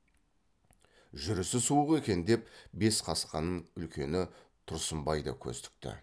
жүрісі суық екен деп бес қасқанын үлкені тұрсынбай да көз тікті